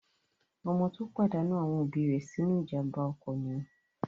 Ọmọ tó pàdánù àwọn òbí rẹ̀ sínú ìjàmbá ọkọ̀ nìyẹn.